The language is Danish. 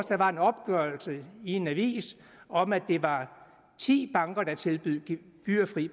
der var en opgørelse i en avis om at det var ti banker der tilbød gebyrfri